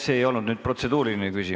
See ei olnud nüüd protseduuriline küsimus.